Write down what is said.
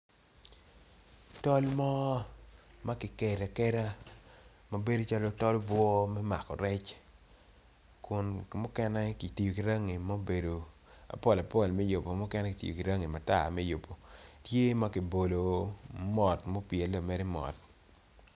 Tol mo makikedo akeda mabedo calo cal bwor me mako rec kun mukene kitiyo ki rangi mobedo apol apol me yubo mukene kitiyo ki rangi matar me yubo tye makibolo mot mapyele mere mot.